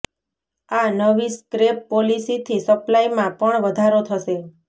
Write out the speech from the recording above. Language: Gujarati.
આ નવી સ્ક્રેપ પોલિસી થી સપ્લાય મા પણ વધારો થશે